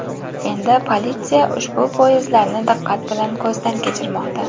Endi politsiya ushbu poyezdlarni diqqat bilan ko‘zdan kechirmoqda.